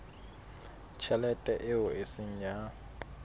tjhelete eo e seng ya